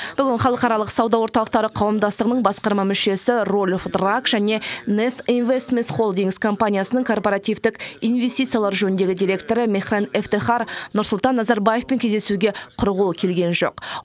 бүгін халықаралық сауда орталықтары қауымдастығының басқарма мүшесі рольф драак және нест инвестмес холдингс компаниясының корпоративтік инвестициялар жөніндегі директоры мехран эфтехар нұрсұлтан назарбаевпен кездесуге құр қол келген жоқ